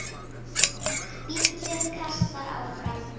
Bíllinn kastast áfram.